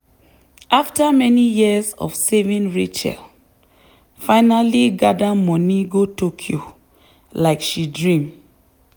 after many years of saving rachel finally gather money go tokyo like she dream.